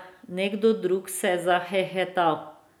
Nekdo drug se je zahehetal.